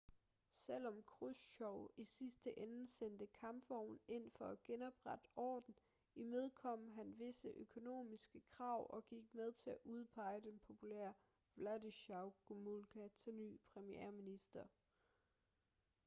selvom khrusjtjov i sidste ende sendte kampvogne ind for at genoprette orden imødekom han visse økonomiske krav og gik med til at udpege den populære wladyslaw gomulka til ny premierminister